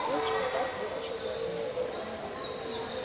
филч опять выпучил глаза